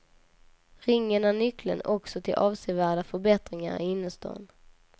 Ringen är nyckeln också till avsevärda förbättringar i innerstan.